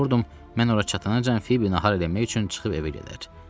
Qorxurdum, mən ora çatanacan Fibi nahar eləmək üçün çıxıb evə gedər.